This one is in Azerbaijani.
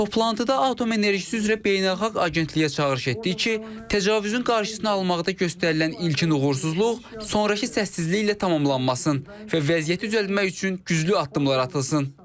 Toplantıda Atom Enerjisi üzrə Beynəlxalq Agentliyə çağırış etdik ki, təcavüzün qarşısını almaqda göstərilən ilkin uğursuzluq sonrakı səssizliklə tamamlanmasın və vəziyyəti düzəltmək üçün güclü addımlar atılsın.